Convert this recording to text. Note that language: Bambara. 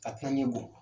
Ka tila ɲɛ bɔ